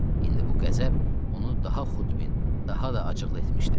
İndi bu qəzəb onu daha xudbin, daha da acıqlı etmişdi.